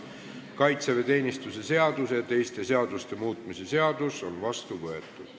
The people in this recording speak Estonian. Kaitseväeteenistuse seaduse ja teiste seaduste muutmise seadus on vastu võetud.